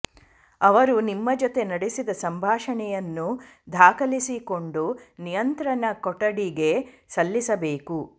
ಅವರು ನಿಮ್ಮ ಜೊತೆ ನಡೆಸಿದ ಸಂಭಾಷಣೆಯನ್ನು ದಾಖಲಿಸಿಕೊಂಡು ನಿಯಂತ್ರಣ ಕೊಠಡಿಗೆ ಸಲ್ಲಿಸಬೇಕು